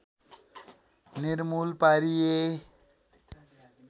निर्मूल पारिए